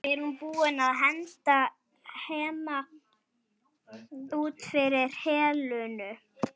Er hún búin að henda Hemma út fyrir Helenu?